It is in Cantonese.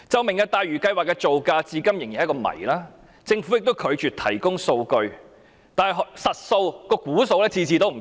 "明日大嶼"項目的造價至今仍是一個謎，政府也拒絕提供數據，每次估計的數字均有不同。